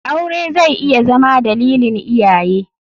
Aure zai iya Zama dalilin iyaye.